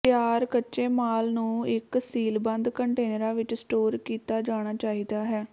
ਤਿਆਰ ਕੱਚੇ ਮਾਲ ਨੂੰ ਇਕ ਸੀਲਬੰਦ ਕੰਟੇਨਰਾਂ ਵਿਚ ਸਟੋਰ ਕੀਤਾ ਜਾਣਾ ਚਾਹੀਦਾ ਹੈ